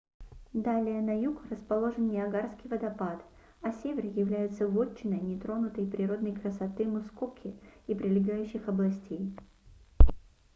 далее на юг расположен ниагарский водопад а север является вотчиной нетронутой природной красоты мускоки и прилегающих областей